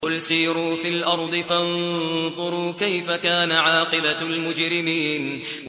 قُلْ سِيرُوا فِي الْأَرْضِ فَانظُرُوا كَيْفَ كَانَ عَاقِبَةُ الْمُجْرِمِينَ